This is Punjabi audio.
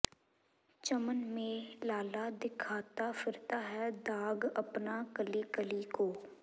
ਚਮਨ ਮੇਂ ਲਾਲਾ ਦਿਖਾਤਾ ਫਿਰਤਾ ਹੈ ਦਾਗ਼ ਅਪਨਾ ਕਲੀ ਕਲੀ ਕੋ